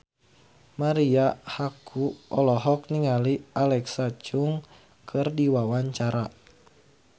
Marisa Haque olohok ningali Alexa Chung keur diwawancara